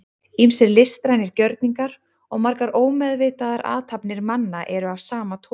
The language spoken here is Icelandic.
ýmsir listrænir gjörningar og margar ómeðvitaðar athafnir manna eru af sama toga